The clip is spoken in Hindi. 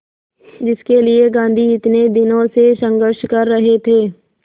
जिसके लिए गांधी इतने दिनों से संघर्ष कर रहे थे